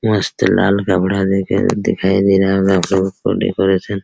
मस्त लाल गमला देखे दिखाई दे रहा होगा आपलोगों को डेकोरेशन --